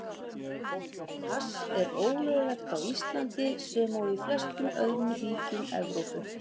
Hass er ólöglegt á Íslandi, sem og í flestum öðrum ríkjum Evrópu.